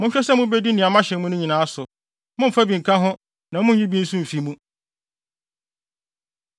Monhwɛ sɛ mubedi nea mahyɛ mo no nyinaa so; mommfa bi nka ho na munnyi bi nso mfi mu.